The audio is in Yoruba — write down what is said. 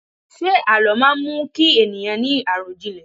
Ṣé àlọ́ má mú kí ènìyàn ni arọjinlẹ?